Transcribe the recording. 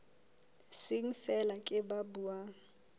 seng feela ke ba buang